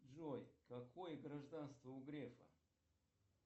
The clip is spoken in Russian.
джой какое гражданство у грефа